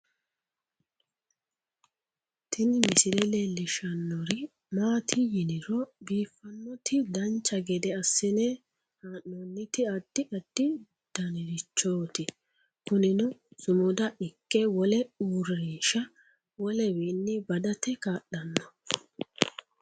Tini misile leellishshannori maati yiniro biiffannoti dancha gede assine haa'noonniti addi addi danirichooti kunino sumada ikke wole urinsha wolenniwi badate kaa'lanno